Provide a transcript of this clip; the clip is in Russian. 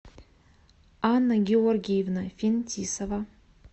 анна георгиевна финтисова